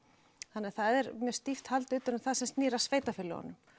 þannig það er stíft haldið utan um það sem snýr að sveitarfélögunum